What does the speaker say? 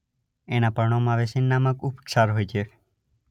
એનાં પર્ણોમાં વેસિન નામક ઉપક્ષાર હોય છે